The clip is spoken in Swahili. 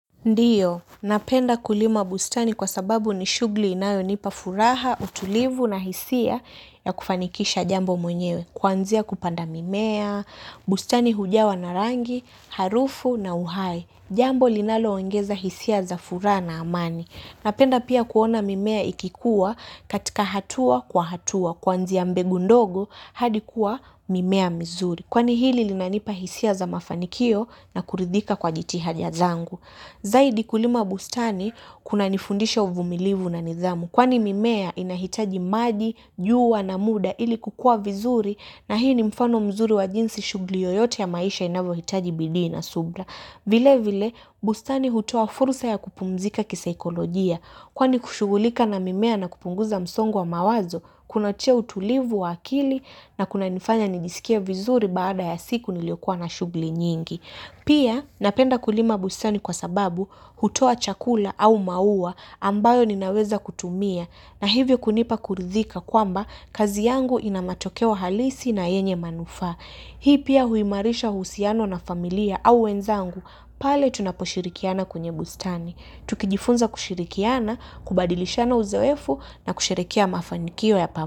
Ndiyo, napenda kulima bustani kwa sababu ni shugli inayonipa furaha, utulivu na hisia ya kufanikisha jambo mwenyewe. Kwanzia kupanda mimea, bustani hujawa na rangi, harufu na uhai. Jambo linaloongeza hisia za furaha na amani. Napenda pia kuona mimea ikikuwa katika hatua kwa hatua. Kwanzia mbegu ndogo hadi kuwa mimea mizuri. Kwani hili linanipa hisia za mafanikio na kuridhika kwa jitihaja zangu. Zaidi kulima bustani kunanifundisha uvumilivu na nidhamu kwani mimea inahitaji maji, jua na muda ili kukua vizuri na hii ni mfano mzuri wa jinsi shugli yoyote ya maisha inavyohitaji bidii na subra. Vile vile bustani hutoa furusa ya kupumzika kisaikolojia kwani kushugulika na mimea na kupunguza msongo wa mawazo kunatia utulivu wa akili na kunanifanya nijiskie vizuri baada ya siku niliokuwa na shugli nyingi. Pia napenda kulima bustani kwa sababu hutoa chakula au mauwa ambayo ninaweza kutumia na hivyo kunipa kuridhika kwamba kazi yangu ina matokeo halisi na yenye manufa. Hii pia huimarisha husiano na familia au wenzangu pale tunaposhirikiana kwenye bustani. Tukijifunza kushirikiana, kubadilishana uzoefu na kusherekea mafanikio ya pa.